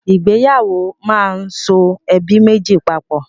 Ìgbéyàwó máa ń so ẹbí méjì papọ̀.